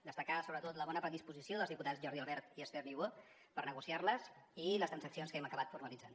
destacar sobretot la bona predisposició dels diputats jordi albert i esther niubó per negociar les i les transaccions que hem acabat formalitzant